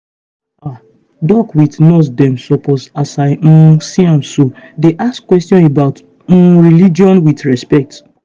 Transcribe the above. ah doc with nurse dem suppose as i um see am so dey ask questions about umreligion with respect.